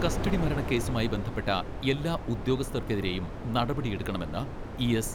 Custody മരണ കേസുമായി ബന്ധപ്പെട്ട എല്ലാ ഉദ്യോഗസ്ഥർക്കെതിരേയും നടപടി എടുക്കണമെന്ന് ഇ.എസ്.